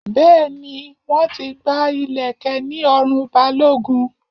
Bẹẹ ni, wọ́n ti gba ileke ní ọrùn Balogun